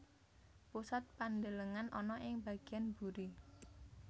Pusat pandelengan ana ing bagian buri